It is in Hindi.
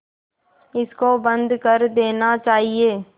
इसको बंद कर देना चाहिए